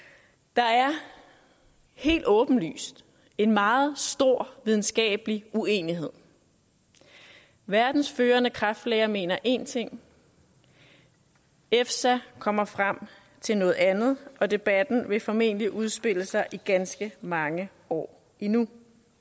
der er helt åbenlyst en meget stor videnskabelig uenighed verdens førende kræftlæger mener én ting efsa kommer frem til noget andet og debatten vil formentlig udspille sig i ganske mange år endnu